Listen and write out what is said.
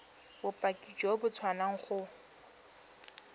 bopaki jo bo tswang go